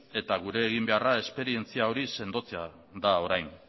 eta gure egin beharra esperientzia hori sendotzea da orain